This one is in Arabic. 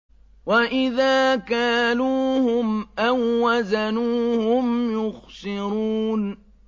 وَإِذَا كَالُوهُمْ أَو وَّزَنُوهُمْ يُخْسِرُونَ